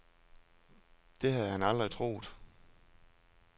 Det havde han aldrig troet.